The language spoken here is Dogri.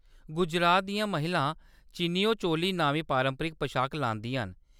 गुजरात दियां महिलां चनियो चोली नामी पारंपरिक पशाक लांदियां न।